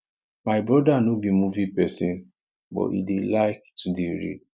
my brother no be movie person but he dey like to dey read